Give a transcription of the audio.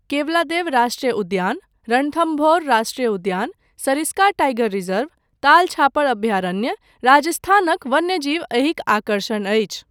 केवलादेव राष्ट्रीय उद्यान, रणथम्भौर राष्ट्रीय उद्यान, सरिस्का टाइगर रिजर्व, ताल छापर अभयारण्य, राजस्थानक वन्यजीव एहिक आकर्षण अछि।